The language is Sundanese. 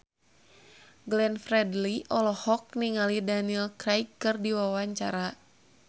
Glenn Fredly olohok ningali Daniel Craig keur diwawancara